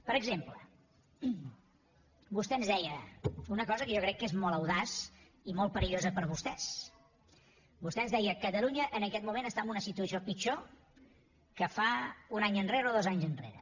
per exemple vostè ens deia una cosa que jo crec que és molt audaç i molt perillosa per a vostès vostè ens deia catalunya en aquest moment està en una situació pitjor que un any enrere o dos anys enrere